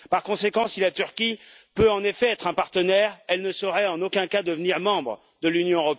Par conséquent, si la Turquie peut, en effet, être un partenaire, elle ne saurait en aucun cas devenir membre de l'Union.